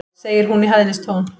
segir hún í hæðnistón.